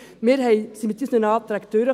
Wir kamen mit unseren Anträgen durch.